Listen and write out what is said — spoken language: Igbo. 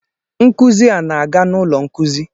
Nkuzi a na-aga n'ulo nkuzi.